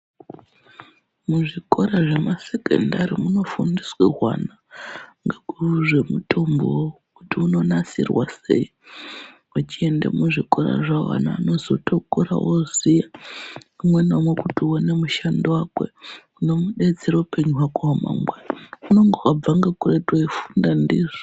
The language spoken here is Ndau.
Muzvikora zvemasekondari munofundiswa hwana ngezvemutombo kuti unonasirwa sei vachienda kuzvikora zvawo vana vanotozokura vooziya umwe naumwe kuti uone mushando wake unozomudetsera muupenyu hwake hwemangwana unenge wabvira kuretu wechifunda ndizvo.